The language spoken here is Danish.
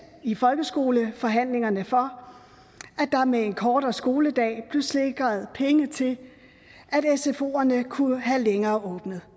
i folkeskoleforhandlingerne for at der med en kortere skoledag blev sikret penge til at sfoerne kunne have længere